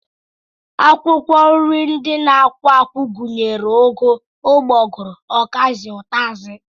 Akwụkwọ nri ndị na-akwụ akwụ gụnyere ụgụ, ụgbọgụrụ, ọkazị, ụtazị